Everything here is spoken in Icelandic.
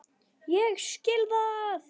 Ég skil það!